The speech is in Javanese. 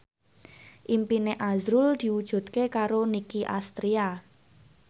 impine azrul diwujudke karo Nicky Astria